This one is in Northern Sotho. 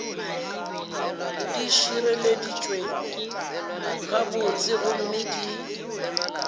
di šireleditšwe gabotse gomme di